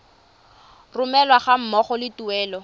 romelwa ga mmogo le tuelo